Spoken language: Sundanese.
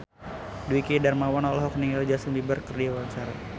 Dwiki Darmawan olohok ningali Justin Beiber keur diwawancara